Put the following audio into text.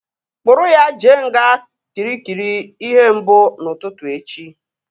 Kpụrụ ya jee nga Kịrikịri ihe mbụ n'ụtụtụ echi!